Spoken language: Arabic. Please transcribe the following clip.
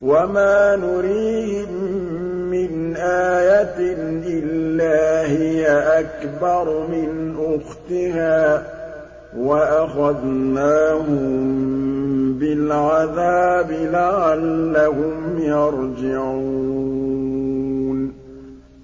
وَمَا نُرِيهِم مِّنْ آيَةٍ إِلَّا هِيَ أَكْبَرُ مِنْ أُخْتِهَا ۖ وَأَخَذْنَاهُم بِالْعَذَابِ لَعَلَّهُمْ يَرْجِعُونَ